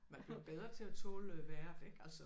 Man bliver bedre til at tåle vejret ikke altså